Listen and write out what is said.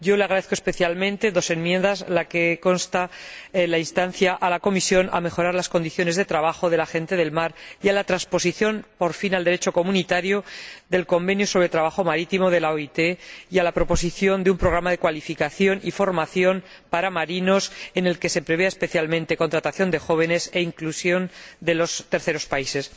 Yo le agradezco especialmente dos enmiendas aquella en la que consta la instancia a la Comisión a mejorar las condiciones de trabajo de la gente del mar, y a la transposición, por fin, al Derecho comunitario, del Convenio sobre el trabajo marítimo de la OIT, así como la propuesta de un programa de cualificación y formación para marinos en el que se prevea, especialmente, la contratación de jóvenes y la inclusión de los terceros países.